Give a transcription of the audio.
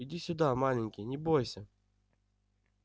иди сюда маленький не бойся